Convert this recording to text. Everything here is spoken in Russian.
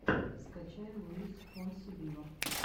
скачай луис фонси виво